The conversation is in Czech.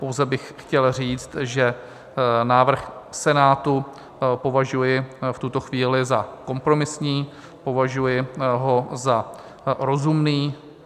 Pouze bych chtěl říct, že návrh Senátu považuji v tuto chvíli za kompromisní, považuji ho za rozumný.